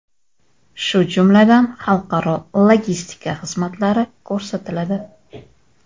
shu jumladan xalqaro logistika xizmatlari ko‘rsatiladi.